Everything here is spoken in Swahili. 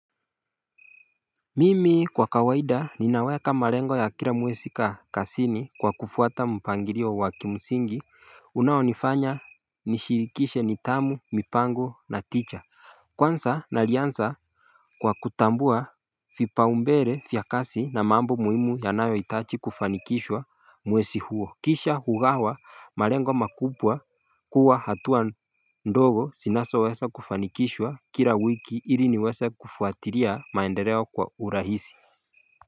Mimi kwa kawaida ninaweka malengo ya kila mwezi kazini kwa kufuata mpangilio wa wa kimsingi unaonifanya nishirikishe nidhamu, mipango na tija. Kwanza, nalizana kwa kutambua vipaumbele vya kazi na mambo muhimu yanayo hitaji kufanikishwa mwezi huo. Kisha kugawa malengo makubwa kuwa hatua ndogo zinazoweza kufanikishwa kila wiki ili niweze kufuatilia maendeleo kwa urahisi.